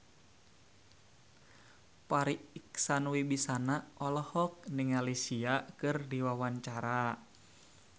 Farri Icksan Wibisana olohok ningali Sia keur diwawancara